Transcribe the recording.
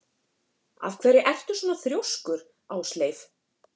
Af hverju ertu svona þrjóskur, Ásleif?